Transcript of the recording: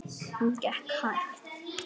Hún gekk hægt.